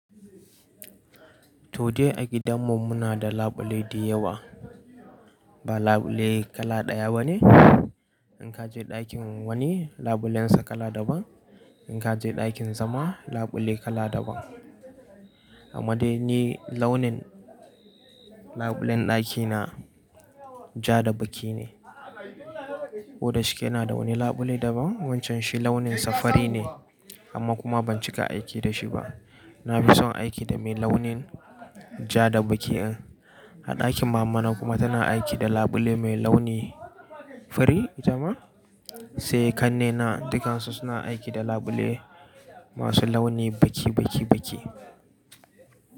Toh dai a gidanmu muna da labule dayawa, ba labule kala ɗaya bane. In ka je ɗakin wani labulensa kala daban, in ka je ɗakin zama labule kala daban. Amma dai ni launin labulen ɗakina ja da baki ne. Koda shike ina da wani labule daban wancan shi launinsa fari ne amma kuma ban cika aiki da shi ba. Na fi son aiki da mai launin ja da bakin. A ɗakin mamana kuma tana aiki da labule mai launi fari, jama. Sai kannena dukansu suna aiki da labule masu launi baki, baki, baki.